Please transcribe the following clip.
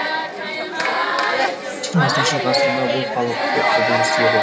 жиырмасыншы ғасырда бұл қалыпты құбылыс еді